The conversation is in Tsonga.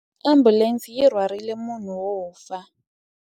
Ambulense yi rhwarile munhu wo fa.